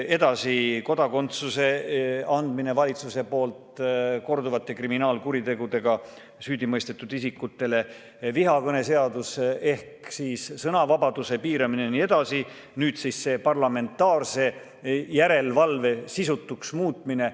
Edasi, kodakondsuse andmine korduvate kriminaalkuritegude eest süüdi mõistetud isikutele, vihakõne seadus ehk sõnavabaduse piiramine jne, nüüd siis see parlamentaarse järelevalve sisutuks muutmine.